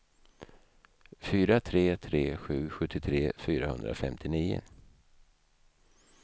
fyra tre tre sju sjuttiotre fyrahundrafemtionio